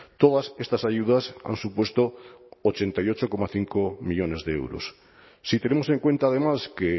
todas estas ayudas han supuesto ochenta y ocho coma cinco millónes de euros si tenemos en cuenta además que